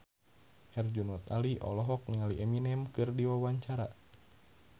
Herjunot Ali olohok ningali Eminem keur diwawancara